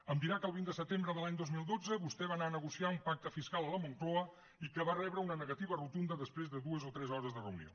em dirà que el vint de setembre de l’any dos mil dotze vostè va anar a negociar un pacte fiscal a la moncloa i que va rebre una negativa rotunda després de dues o tres hores de reunió